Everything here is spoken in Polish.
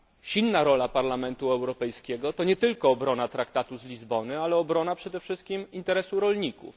Silna rola Parlamentu Europejskiego to nie tylko obrona Traktatu z Lizbony, ale przede wszystkim obrona interesu rolników.